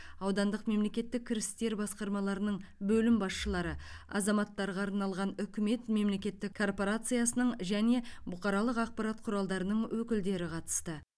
аудандық мемлкеттік кірістер басқармаларының бөлім басшылары азаматтарға арналған үкімет мемлекеттік корпорациясының және бұқаралық ақпарат құралдарының өкілдері қатысты